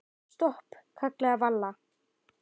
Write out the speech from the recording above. Stopp, kallaði Vala.